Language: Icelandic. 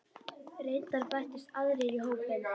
Reyndar bættust aðrir í hópinn.